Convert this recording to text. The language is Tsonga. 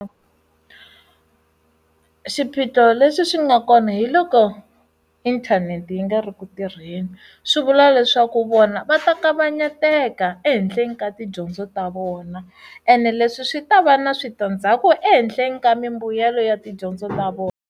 Swiphiqo leswi swi nga kona hiloko inthanete yi nga ri ku tirheni swivula leswaku vona va ta kavanyeteka ehenhleni ka tidyondzo ta vona ene leswi swi ta va na switandzhaku ehenhleni ka mimbuyelo ya tidyondzo ta vona.